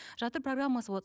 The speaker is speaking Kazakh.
жатыр программасы болады